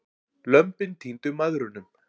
Lömbin týndu mæðrunum.